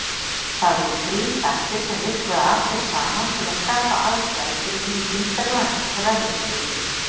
Það voru þrír þættir, sem virkuðu allir saman til að skapa aðstæður fyrir myndun Grænlandsjökuls.